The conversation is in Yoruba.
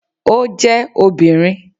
O je obìnrin